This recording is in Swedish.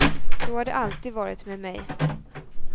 Så har det alltid varit med mig.